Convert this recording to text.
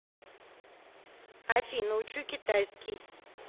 афина учу китайский